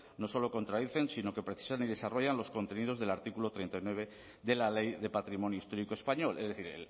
no solo contradicen sino que precisan y desarrollan los contenidos del artículo treinta y nueve de la ley de patrimonio histórico español es decir